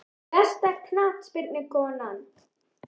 Besta knattspyrnukonan?